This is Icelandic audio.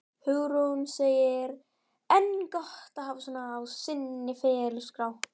Hugrún: En er gott að hafa svona á sinni ferilskrá?